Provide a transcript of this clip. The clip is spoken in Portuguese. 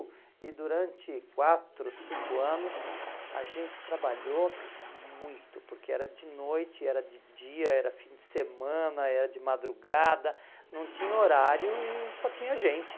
E durante quatro, cinco anos, a gente trabalhou muito, porque era de noite, era de dia, era fim de semana, era de madrugada, não tinha horário e só tinha gente.